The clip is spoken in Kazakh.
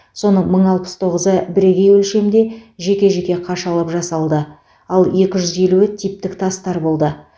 соның мың алпыс тоғызы бірегей өлшемде жеке жеке қашалып жасалды ал екі жүз елуі типтік тастар болды